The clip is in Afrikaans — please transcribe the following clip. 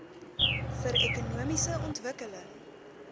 vir ekonomiese ontwikkeling